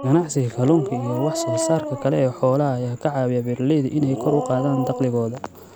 Ka ganacsiga kalluunka iyo wax soo saarka kale ee xoolaha ayaa ka caawiya beeralayda inay kor u qaadaan dakhligooda.